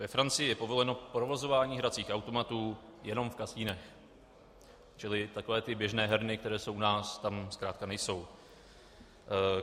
Ve Francii je povoleno provozování hracích automatů jenom v kasinech, čili takové ty běžné herny, které jsou u nás, tam zkrátka nejsou.